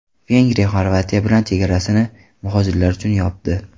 Vengriya Xorvatiya bilan chegarasini muhojirlar uchun yopdi.